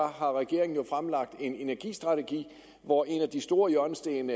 har regeringen fremlagt en energistrategi og en af de store hjørnesten